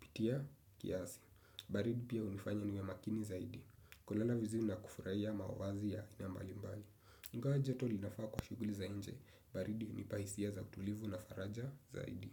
Pitia kiasi. Baridi pia hunifanya niwe makini zaidi. Kulala vizuri na kufurahia mavazi ya aina mbalimbali. Ingawa joto linafaa kwa shughuli za nje. Baridi hunipa hisia za utulivu na faraja zaidi.